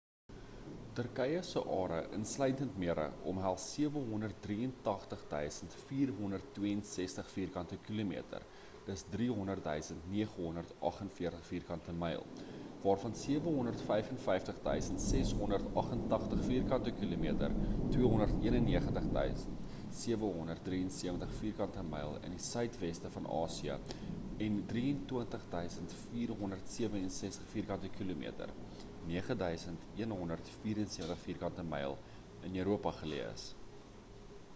turkye se are insluitend mere omhels 783 562 vierkante kilometer 300 948 vk myl waarvan 755 688 vk kilometer 291 773 vk myl in die suidweste van asië en 23 764 vk km 9 174vk myl in europa geleë is